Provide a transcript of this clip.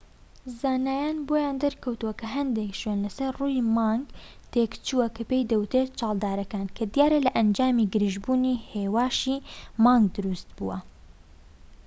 زانایان بۆیان دەرکەوتوە کە هەندێک شوێن لە سەر ڕووی مانگ تێکچووە کە پێی دەوترێت چاڵدارەکان کە دیارە لە ئەنجامی گرژبوونی هێواشی مانگ دروست بووە